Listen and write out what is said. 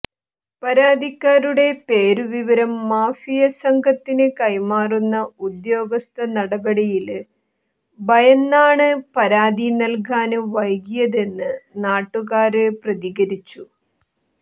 പരാതിക്കാരുടെ പേരുവിവരം മാഫിയ സംഘത്തിന് കൈമാറുന്ന ഉദ്യോഗസ്ഥ നടപടിയില് ഭയന്നാണ് പരാതി നല്കാന് വൈകിയതെന്ന് നാട്ടുകാര് പ്രതികരിച്ചു